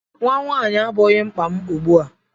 Nnwa nwaanyị abụghị mkpa m ugbu a.